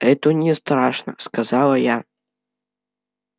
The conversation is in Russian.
это не страшно сказала я